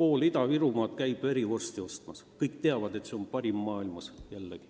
pool Ida-Virumaad käib verivorsti ostmas – kõik teavad, et see on parim maailmas.